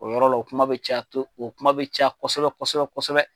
O yɔrɔ la, kuma bɛ ca , o kuma bɛ caya kɔsɔbɛ kosɛbɛ kosɛbɛ.